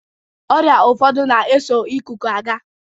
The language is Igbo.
Ọrịa ụfọdụ na-eso ịkụkụ aga.